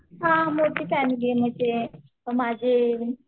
हा मोठी फॅमिली आहे म्हणजे माझे